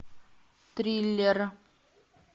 триллер